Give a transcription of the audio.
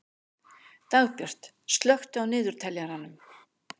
Dagbjörg, slökktu á niðurteljaranum.